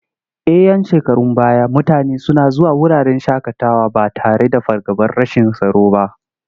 A 'yan shekarun baya mutane suna zuwa wuraren shaƙatawa ba tare da fargabar rashin tsaro ba.